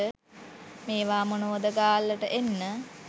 මේවා මොනවද ගාල්ලට එන්න